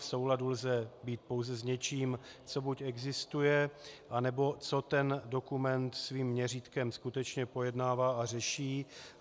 V souladu lze být pouze s něčím, co buď existuje, anebo co ten dokument svým měřítkem skutečně pojednává a řeší.